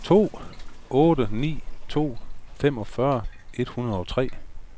to otte ni to femogfyrre fire hundrede og tre